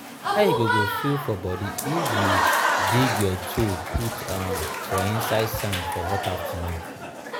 but how e go go feel for body if you dig your toe put um for um inside sand for hot afternoon?